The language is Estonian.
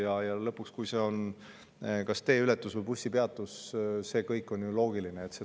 Ja kui on kas teeületus või bussipeatus – see kõik on ju loogiline.